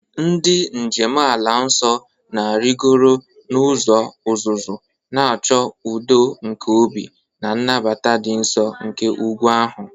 Ndị njem ala nsọ na-arịgoro n'ụzọ uzuzu, na-achọ udo nke obi na nnabata dị nsọ nke ugwu ahụ.